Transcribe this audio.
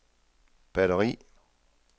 batteri